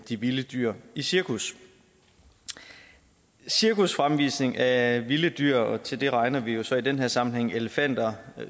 de vilde dyr i cirkus cirkusfremvisning af vilde dyr og til dem regner vi jo så i den her sammenhæng elefanter